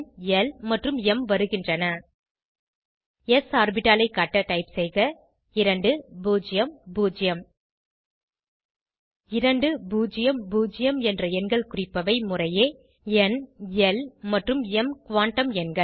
ல் மற்றும் ம் வருகின்றன ஸ் ஆர்பிட்டாலை காட்ட டைப் செய்க 2 0 0 2 0 0 என்ற எண்கள் குறிப்பவை முறையே ந் ல் மற்றும் ம் குவாண்டம் எண்கள்